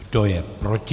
Kdo je proti?